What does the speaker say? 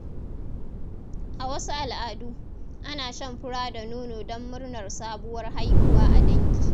A wasu al'adu, ana shan fura da nono don murnar sabuwar haihuwa a dangi.